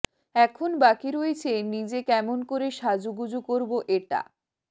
এখন বাকী রয়েছে নিজে কেমন করে সাজুগুজু করবো এটা